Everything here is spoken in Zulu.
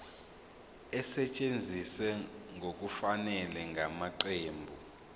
esetshenziswe ngokungafanele ngamaqembu